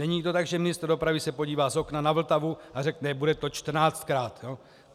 Není to tak, že ministr dopravy se podívá z okna na Vltavu a řekne "bude to čtrnáctkrát".